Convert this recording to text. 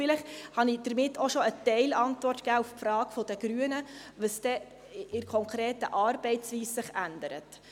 Vielleicht habe ich damit auch schon eine Teilantwort auf die Frage der Grünen gegeben, was sich denn in der konkreten Arbeitsweise ändere.